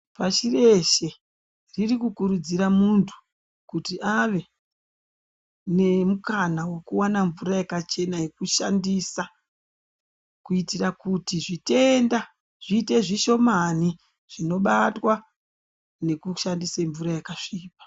Parireshe riri kukuridzira muntu kuti ave nemukana wekuwana mvura yakachena yekushandisa kuitira kuti zvitenda zviite zvishomani zvinobatwa nekushandise mvura yakasvipa.